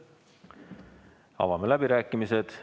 Avame läbirääkimised.